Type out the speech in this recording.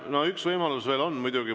No üks võimalus veel on muidugi.